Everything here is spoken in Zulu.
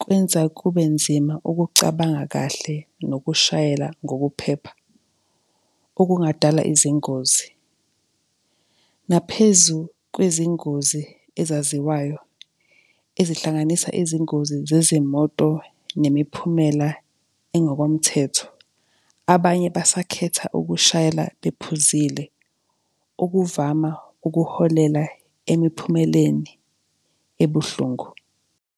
kwenza kube nzima ukucabanga kahle nokushayela ngokuphepha, okungadala izingozi. Naphezu kwezingozi ezaziwayo, ezihlanganisa izingozi zezimoto nemiphumela engokomthetho, abanye basakhetha ukushayela bephuzile, okuvama ukuholela emiphumeleni ebuhlungu.